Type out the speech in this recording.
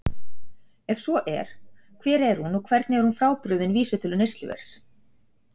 Ef svo er, hver er hún og hvernig er hún frábrugðin vísitölu neysluverðs?